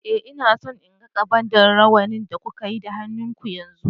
Eh, ina so in ga ƙabad na raunin da kuka yi da hannuwan ku.